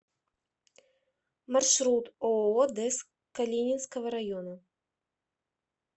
маршрут ооо дез калининского района